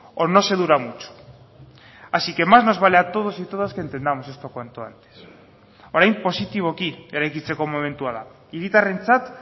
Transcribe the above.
o no se dura mucho así que más nos vale a todos y todas que entendamos esto cuanto antes orain positiboki eraikitzeko momentua da hiritarrentzat